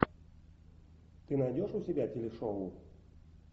ты найдешь у себя телешоу